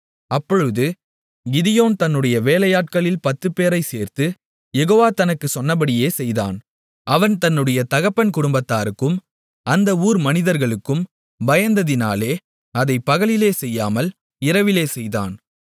அப்பொழுது கிதியோன் தன்னுடைய வேலையாட்களில் பத்துப்பேரைச் சேர்த்து யெகோவா தனக்குச் சொன்னபடியே செய்தான் அவன் தன்னுடைய தகப்பன் குடும்பத்தாருக்கும் அந்த ஊர் மனிதர்களுக்கும் பயந்ததினாலே அதைப் பகலிலே செய்யாமல் இரவிலே செய்தான்